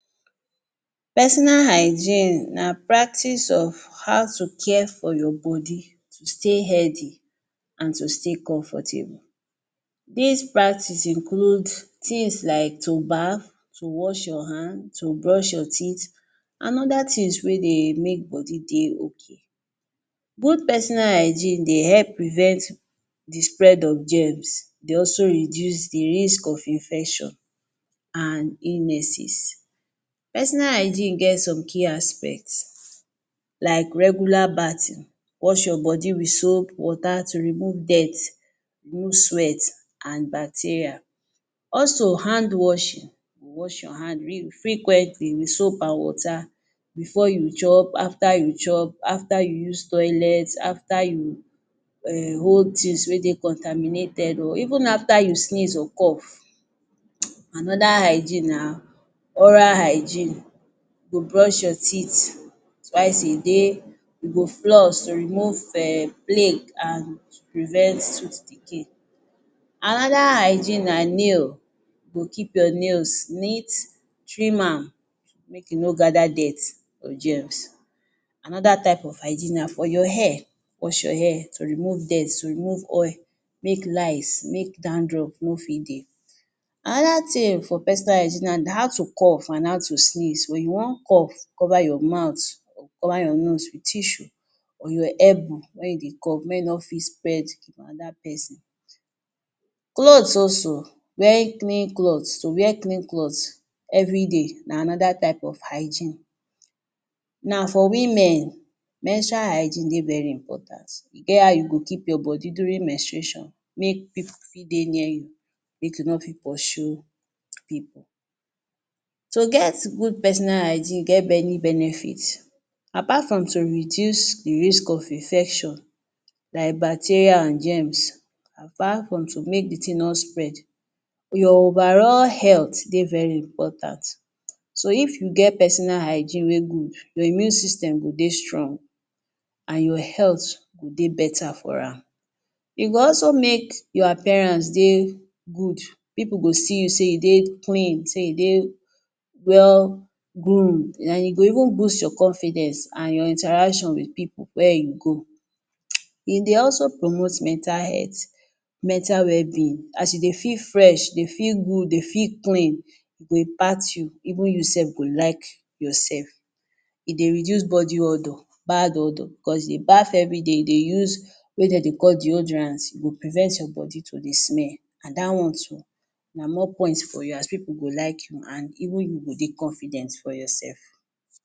Personal hygiene na practice of how to care for your body to stay healthy an to stay comfortable. Dis practice include tins like to bath, to wash your hand, to brush your teeth, an other tins wey dey make body dey okay. Good personal hygiene dey help prevent the spread of germs, dey also reduce the risk of infection, an illnesses. Personal hygiene get some key aspect like regular bathing: Wash your body with soap water to remove dirt, remove sweat, an bacteria. Also, hand washing: Wash your hand real frequently with soap an water before you chop, after you chop, after you use toilet, after you um hold tins wey dey contaminated or even after you sneeze or cough. [hiss] Another hygiene na oral hygiene: You go brush your teeth twice a day, you go floss to remove um plague an to prevent tooth decay. Another hygiene na nail: You go keep your nails neat, trim am, make e no gather dirt or germs. Another type type of hygiene na for your hair. Wash your hair to remove dirt, to remove oil, make lice, make dandruff no fit dey. Another tin for personal hygiene na how to cough an how to sneeze: Wen you wan cough, cover your mouth, cover your nose with tissue or your elbow wen you dey cough make e no fit spread for another peson. Clothes also. Wear clean clothes. To wear clean clothes everyday na another type of hygiene. Now, for women, menstrual hygiene dey very important. E get how you go keep your body during menstruation make pipu fit dey near you, make you no fit pursue pipu. To get good personal hygiene get many benefit. Apart from to reduce the risk of infection like bacteria an germs, apart from to make the tin no spread, your overall health dey very important. So if you get personal hygiene wey good, your immune system go dey strong, an your health go dey beta for am. E go also make your appearance dey good. Pipu go see you sey dey clean, sey you dey well groom, an e go even boost your confidence an your interaction with pipu where you go. E dey also promote mental health, mental wellbeing. As you dey feel fresh, dey feel good, dey feel clean, e go impact you. Even you sef go like yoursef. E dey reduce body odour, bad odour. Bicos you bath everyday, you dey use wetin de dey call deodorant, e go prevent your body to dey smell. An dat one too, na more point for you as pipu go like you, an even you go dey confident for yoursef.